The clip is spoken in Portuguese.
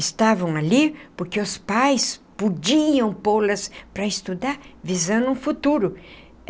estavam ali porque os pais podiam pô-las para estudar, visando um futuro.